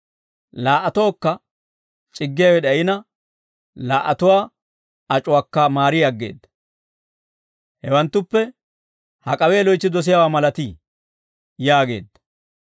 Laa"atookka c'iggiyaawe d'ayina, laa"atuwaa ac'uwaakka maari aggeedda. Hawanttuppe hak'awe loytsi dosiyaawaa malatii?» yaageedda.